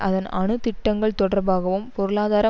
அதன் அணு திட்டங்கள் தொடர்பாகவும் பொருளாதார